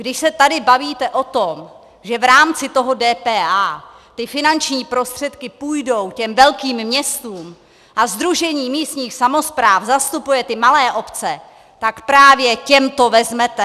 Když se tady bavíte o tom, že v rámci toho DPH ty finanční prostředky půjdou těm velkým městům, a Sdružení místních samospráv zastupuje ty malé obce, tak právě těm to vezmete.